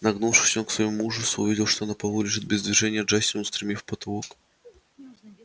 нагнувшись он к своему ужасу увидел что на полу лежит без движения джастин устремив в потолок